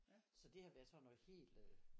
Så det har været sådan noget helt øh